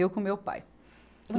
Eu com o meu pai.